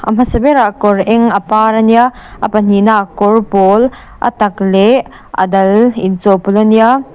a hmasa berah kawr eng a par ania a pahnihna ah kawr pâwl a tak leh a dal in chawhpawlh ania.